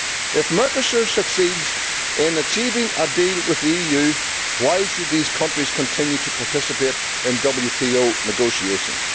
If Mercosur succeeds in achieving a deal with the EU, why should these countries continue to participate in WTO negotiations?